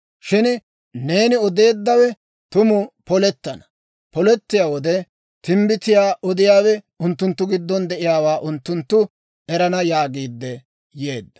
«Shin neeni odeeddawe tumu polettana; polettiyaa wode, timbbitiyaa odiyaawe unttunttu giddon de'iyaawaa unttunttu erana» yaagiidde yeedda.